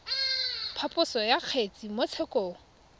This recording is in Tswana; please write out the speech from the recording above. phaposo ya kgetse mo tshekong